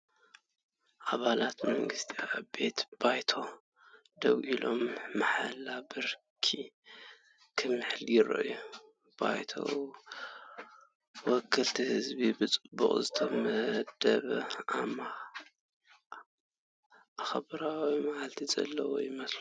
ኣባላት መንግስቲ ኣብ ቤት ባይቶ ደው ኢሎም ማሕላኦም ብኽብሪ ክምሕሉ ይረኣዩ። ባይቶ ወከልቲ ህዝቢ ብጽቡቕ ዝተወደበን ኣኽብሮታዊ መልክዕ ዘለዎ ይመስል።